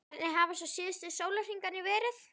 Hvernig hafa svo síðustu sólarhringar verið?